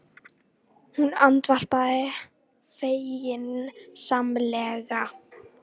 Njarðvík er nýkomið upp og ætti baráttuandinn svo sannarlega að vera til staðar hjá liðinu.